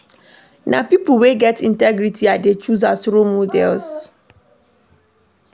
Na pipo wey get integrity I dey choose as role models.